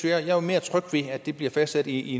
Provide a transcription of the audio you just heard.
er mere tryg ved at det bliver fastlagt i